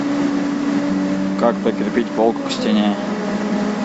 как прикрепить полку к стене